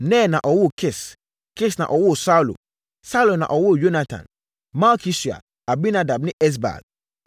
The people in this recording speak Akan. Ner na ɔwoo Kis. Kis na ɔwoo Saulo, Saulo na ɔwoo Yonatan, Malki-Sua, Abinadab ne Esbaal.